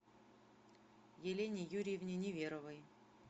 елене юрьевне неверовой